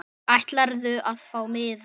Ætlarðu að fá miða?